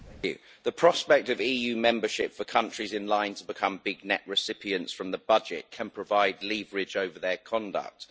Mr President, the prospect of EU membership for countries in line to become big net recipients from the budget can provide leverage over their conduct.